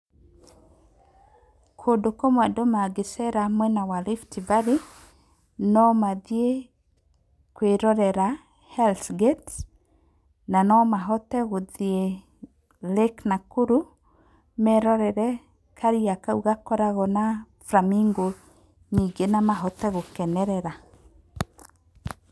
Kũndũ kũmwe andũ mangĩcera mwena wa Rift Valley no mathiĩ kwĩĩ rorera Hells Gate na no mahote gũthiĩ lake Nakuru merorere karia kau gakoragwo na flamingo nyingĩ na mahote gũkenerera.